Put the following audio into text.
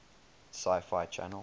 sci fi channel